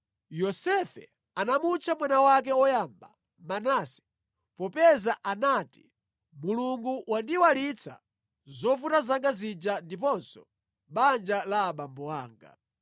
Yosefe anamutcha mwana wake woyamba, Manase popeza anati, “Mulungu wandiyiwalitsa zovuta zanga zija ndiponso banja la abambo anga.”